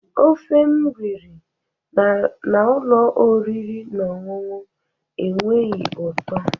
Ofe m riri na ụlọ oriri na ọṅụṅụ enweghị ụtọ